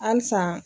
Halisa